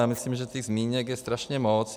Já myslím, že těch zmínek je strašně moc.